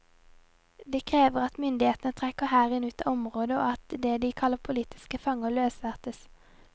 De krever at myndighetene trekker hæren ut av området, og at det de kaller politiske fanger, løslates.